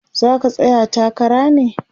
zaka tsaya takara ne?